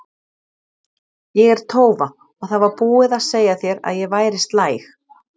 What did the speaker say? Ég er tófa og það var búið að segja þér að ég væri slæg.